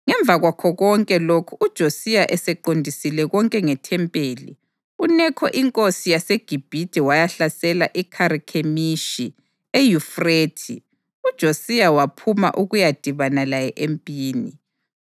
Ngemva kwakho konke lokhu uJosiya eseqondisile konke ngeThempeli, uNekho inkosi yaseGibhithe wayahlasela iKharikhemishi eYufrathe, uJosiya waphuma ukuyadibana laye empini.